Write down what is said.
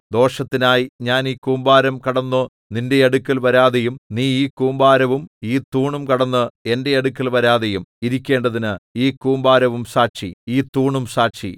ദോഷത്തിനായി ഞാൻ ഈ കൂമ്പാരം കടന്നു നിന്റെ അടുക്കൽ വരാതെയും നീ ഈ കൂമ്പാരവും ഈ തൂണും കടന്ന് എന്റെ അടുക്കൽ വരാതെയും ഇരിക്കേണ്ടതിന് ഈ കൂമ്പാരവും സാക്ഷി ഈ തൂണും സാക്ഷി